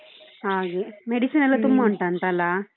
ಹಾಗೆ medicine ಎಲ್ಲ ತುಂಬಾ ಉಂಟಾಂತಲ್ಲ?